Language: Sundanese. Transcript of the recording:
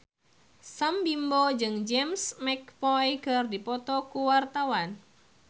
Sam Bimbo jeung James McAvoy keur dipoto ku wartawan